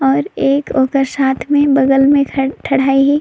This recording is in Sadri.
और एक ओकर साथ में बगल में ठाड़हाय हे।